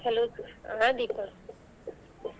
Hello ಹಾ ದೀಪ.